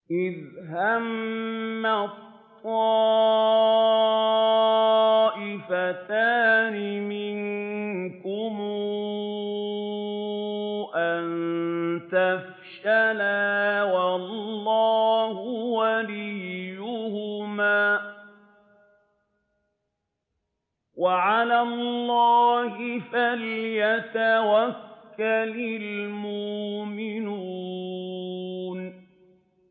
إِذْ هَمَّت طَّائِفَتَانِ مِنكُمْ أَن تَفْشَلَا وَاللَّهُ وَلِيُّهُمَا ۗ وَعَلَى اللَّهِ فَلْيَتَوَكَّلِ الْمُؤْمِنُونَ